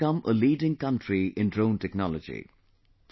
We have to become a leading country in Drone Technology